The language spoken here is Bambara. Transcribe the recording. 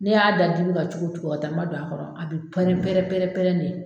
Ne y'a da dibi kan cogo cogo a tɛ ma don a kɔrɔ ,a bɛ pɛrɛn pɛrɛn pɛrɛn pɛrɛn de